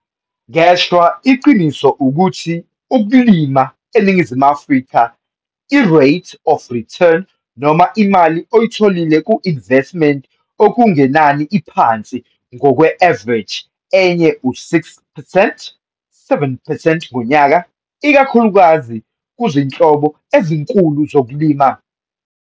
Ngeshwa, iqiniso ukuthi ukulima eNingizimu Afrika, i-rate of rertun noma imali oyitholile ku-investiment okungenani iphansi - ngokwe-avareji enye u-6 percent 7 percent ngonyaka, ikakhulukazi kuzinhlobo ezinkulu zokulima.